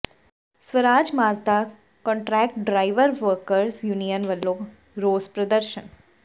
Swaraj Mazda contract driver workers union ਵਲੋਂ ਰੋਸ ਪ੍ਰਦਰਸ਼ਨ